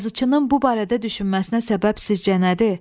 Yazıçının bu barədə düşünməsinə səbəb sizcə nədir?